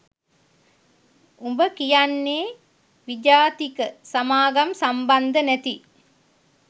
උඹ කියන්නේ විජාතික සමාගම් සම්බන්ධ නැති